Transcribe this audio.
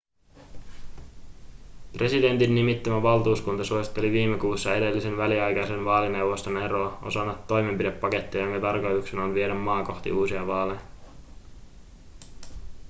presidentin nimittämä valtuuskunta suositteli viime kuussa edellisen väliaikaisen vaalineuvoston eroa osana toimenpidepakettia jonka tarkoituksena on viedä maa kohti uusia vaaleja